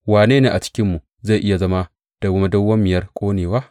Wane ne a cikinmu zai iya zama da madawwamiyar ƙonewa?